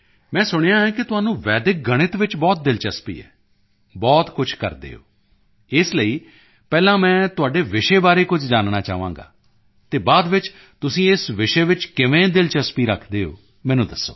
ਮੈਂ ਸੁਣਿਆ ਹੈ ਕਿ ਤੁਹਾਨੂੰ ਵੈਦਿਕ ਗਣਿਤ ਵਿੱਚ ਬਹੁਤ ਦਿਲਚਸਪੀ ਹੈ ਬਹੁਤ ਕੁਝ ਕਰਦੇ ਓ ਇਸ ਲਈ ਪਹਿਲਾਂ ਮੈਂ ਤੁਹਾਡੇ ਵਿਸ਼ੇ ਬਾਰੇ ਕੁਝ ਜਾਨਣਾ ਚਾਹਾਂਗਾ ਅਤੇ ਬਾਅਦ ਵਿੱਚ ਤੁਸੀਂ ਇਸ ਵਿਸ਼ੇ ਵਿੱਚ ਕਿਵੇਂ ਦਿਲਚਸਪੀ ਰੱਖਦੇ ਹੋ ਮੈਨੂੰ ਦੱਸੋ